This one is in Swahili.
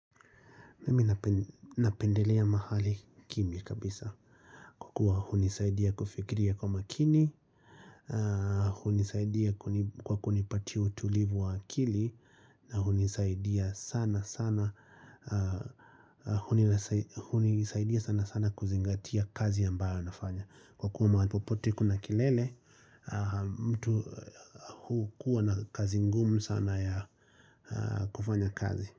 Mimi nape napendelea mahali kimya kabisa kwa kuwa hunisaidia kufikiria kwa makini, hunisaidia kwa kunipatia utulivu wa akili na hunidaidia sana hunisaidia sana sana kuzingatia kazi ambayo nafanya kukua mahali popote kuna kelele, mtu huu kuwa na kazi ngumu sana ya kufanya kazi.